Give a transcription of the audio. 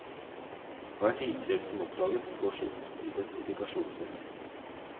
Hvert isfjell som oppdages får sitt identifikasjonsnummer.